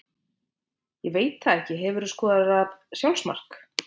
Ég veit það ekki Hefurðu skorað sjálfsmark?